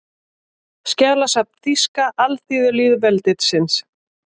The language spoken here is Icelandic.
Skjalasafn Þýska alþýðulýðveldisins